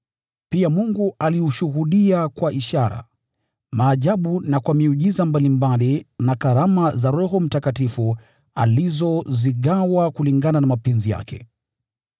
Pia Mungu aliushuhudia kwa ishara, maajabu na kwa miujiza mbalimbali, na karama za Roho Mtakatifu alizozigawa kulingana na mapenzi yake.